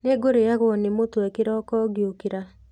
Nĩngũrĩagwo nĩ mũtwe kĩroko ngĩokĩra.